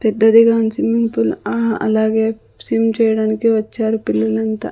పెద్దదిగా ఉంది swimming pool ఆ అలాగే స్విమ్ చేయడానికి వచ్చారు పిల్లలంతా--